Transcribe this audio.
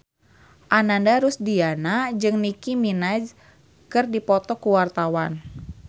Ananda Rusdiana jeung Nicky Minaj keur dipoto ku wartawan